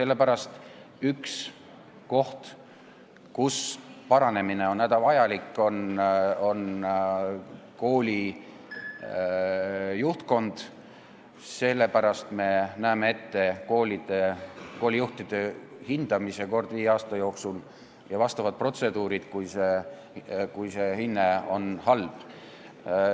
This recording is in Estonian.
Koolide juhtimise paranemine on hädavajalik ja sellepärast me näeme ette koolijuhtide hindamise kord viie aasta jooksul ja vastavad protseduurid, kui pandud hinne on halb.